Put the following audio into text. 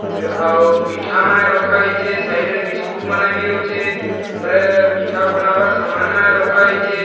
ଇ ଆଉ ମିଠା ମାନେ ରଖା ହେଇଛେ ସାଇଡ୍‌ ରେ ବିସ୍କୁଟ ମାନେ ବ ଅଛେ ଉପରେ ମିଠା ବନାବାର୍‌ ସାମାନ ମାନେ ରଖା ହେଇଛେ ଇଟା ଗୁଟେ ଫ୍ରି --